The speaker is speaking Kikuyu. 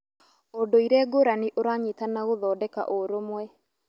Ũndũire ngũrani ũranyitana gũthondeka ũrũmwe.